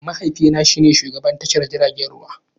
Mahaifina shine shugaban tashar jiragen ruwa